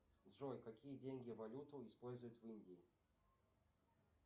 джой какие деньги валюту используют в индии